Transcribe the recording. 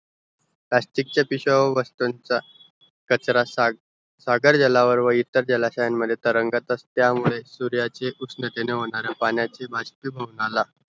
plastic चे पिशवाय व वस्तूंचा कचरा साग सागर जलावर व इतर जाळश्यांमदे तरंगत त्यामुळे सूर्याचे उष्णतेने होणारे पाण्याचे भाषानिभुवनाला